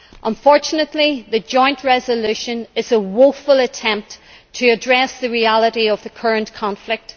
Unfortunately, this joint resolution is a woeful attempt to address the reality of the current conflict.